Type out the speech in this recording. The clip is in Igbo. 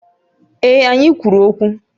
Ee, anyị kwuru okwu